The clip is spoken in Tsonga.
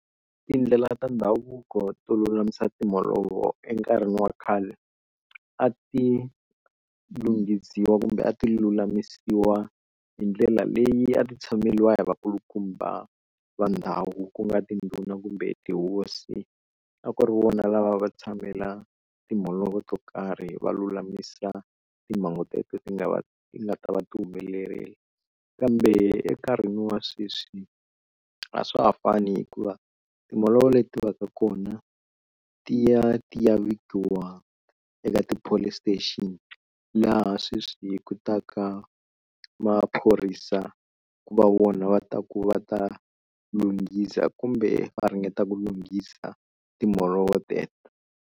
Tindlela ta ndhavuko to lulamisa timholovo enkarhini wa khale a ti lunghisiwa kumbe a ti lulamisiwa hi ndlela leyi a ti tshameriwa hi vakulukumba va ndhawu ku nga tindhuna kumbe tihosi a ku ri vona lava va tshamela timholovo to karhi va lulamisa timhangu teto ti nga va nga ta va ti humelerile. Kambe enkarhini wa sweswi a swa ha fani hikuva timholovo leti va ka kona ti ya ti ya vikiwa eka ti-police station laha sweswi ku ta ka maphorisa ku va vona va ta ku va ta lunghisa kumbe va ringeta ku lunghisa timholovo teto.